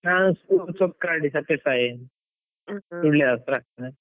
ನಾನ್ school Chokkadi , Sullia ಹತ್ರ.